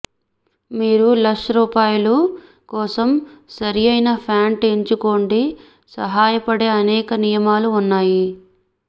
మీరు లష్ రూపాలు కోసం సరిఅయిన ప్యాంటు ఎంచుకోండి సహాయపడే అనేక నియమాలు ఉన్నాయి